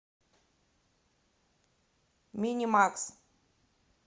минимакс